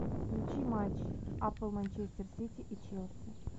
включи матч апл манчестер сити и челси